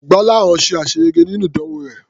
Gbọ́láhàn ṣe àṣeyege nínú ìdánwò rẹ̀.